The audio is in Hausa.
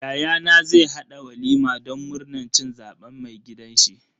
Yayana zai haɗa walima don murnan cin zaben mai gidanshi.